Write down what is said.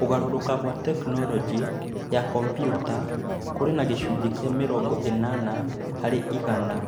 Kũgarũrũka kwa tekinolonjĩ ya kompiuta kũrĩ na gĩcunjĩ kĩa mĩrongo ĩnana harĩ igana.